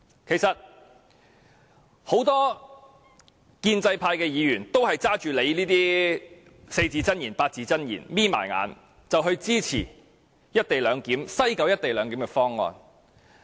其實，很多建制派議員也聽信局長這些四字或八字真言，閉着眼支持西九"一地兩檢"的方案。